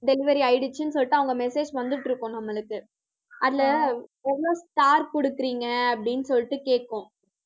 delivery ஆயிடுச்சுன்னு சொல்லிட்டு, அவங்க message வந்துட்டு இருக்கும் நம்மளுக்கு. அதுல எவ்வளவு star குடுக்கறீங்க அப்படின்னு சொல்லிட்டு கேக்கும்.